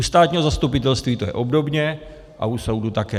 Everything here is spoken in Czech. U státního zastupitelství to je obdobně a u soudu také.